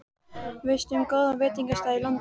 Veistu um góðan veitingastað í London?